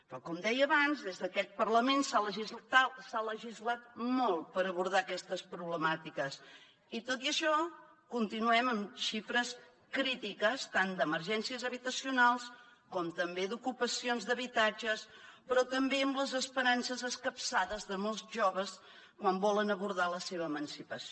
però com deia abans des d’aquest parlament s’ha legislat molt per abordar aquestes problemàtiques i tot i això continuem en xifres crítiques tant d’emergències habitacionals com també d’ocupacions d’habitatges però també amb les esperances escapçades de molts joves quan volen abordar la seva emancipació